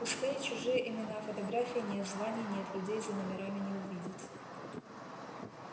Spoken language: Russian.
пустые чужие имена фотографий нет званий нет людей за номерами не увидеть